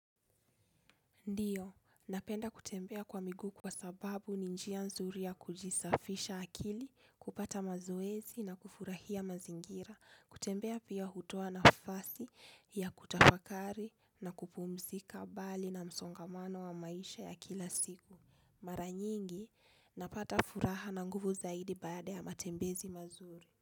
Ndiyo, napenda kutembea kwa miguu kwa sababu ni njia nzuri ya kujisafisha akili, kupata mazoezi na kufurahia mazingira, kutembea pia hutoa nafasi ya kutafakari na kupumzika bali na msongamano wa maisha ya kila siku. Mara nyingi, napata furaha na nguvu zaidi baada ya matembezi mazuri.